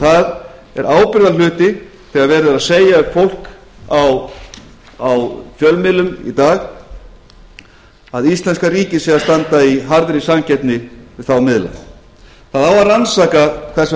það er ábyrgðarhluti þegar verið er að segja við fólk á fjölmiðlum í dag að íslenska ríkið sé að standa í harðri samkeppni við þá miðla það á að rannsaka hvers vegna bankakerfið á